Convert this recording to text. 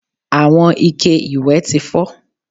Àwọn ike ìwẹ̀ ti fọ́